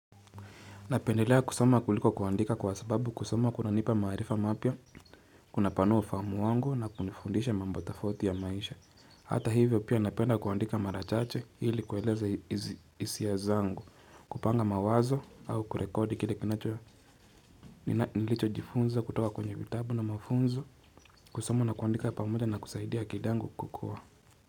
Napendelea kusoma kuliko kuandika kwa sababu kusoma kuna nipa marifa mapya kuna panuwa ufahamu wangu na kunifundisha mambo tofauti ya maisha. Hata hivyo pia napenda kuandika mara chache ili kueleza isia zangu kupanga mawazo au kurekodi kile kinacho nilicho jifunza kutoka kwenye vitabu na mafunzo kusoma na kuandika pamoja na kusaidia akili angu kukua.